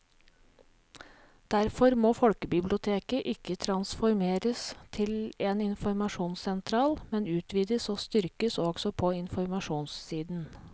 Derfor må folkebiblioteket ikke transformeres til en informasjonssentral, men utvides og styrkes også på informasjonssiden.